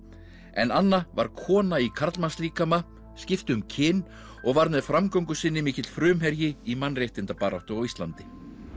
en Anna var kona í skipti um kyn og var með framgöngu sinni mikill frumherji í mannréttindabaráttu á Íslandi